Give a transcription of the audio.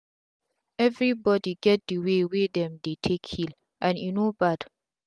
everi bodi get d way wey dem dey take heal and e no bad